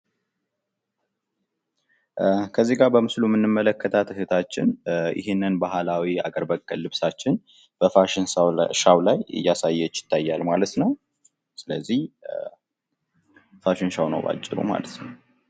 በምስሉ ላይ የምንመለከታት እህታችን ይህንን ባህላዊ ሃገር በቀል የባህል ልብሳችን በፋሽን ሾው ላይ እያሳየች ይታያል። ስለዚህ ባጭሩ ፋሽን ሾው ነው ማለት ነው።